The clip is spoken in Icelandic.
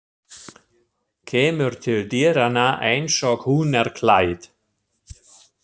Kemur til dyranna einsog hún er klædd.